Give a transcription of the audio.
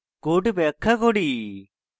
code ব্যাখ্যা করি